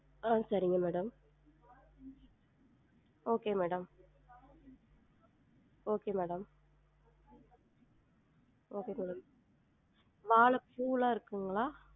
ஆஹ் சரிங் madam okay madam okay madam okay madam வாழப்பூலாம் இருக்குங்களா?